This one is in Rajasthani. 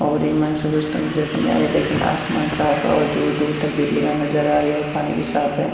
और इक मायने सूरज लेकिन आसमान साफ है और दूर दूर तक बिल्डिंगा नजर आ री है और पानी भी साफ है।